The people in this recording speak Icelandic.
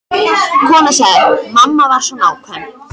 Konan sagði: Mamma var svo nákvæm.